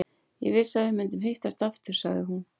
Ég vissi að við myndum hittast aftur, sagði hún.